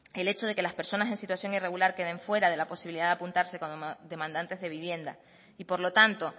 el hecho de que las personas en situación irregular queden fuera de la posibilidad de apuntarse como demandantes de vivienda y por lo tanto